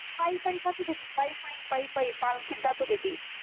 पायी पायी जात होती ती पायी पायी पायी पायी पालखीत जात होती ती